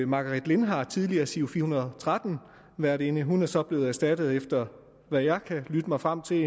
margaret linhardt tidligere giro fire hundrede og tretten værtinde hun er så blevet erstattet efter hvad jeg kan lytte mig frem til